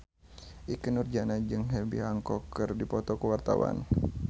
Ikke Nurjanah jeung Herbie Hancock keur dipoto ku wartawan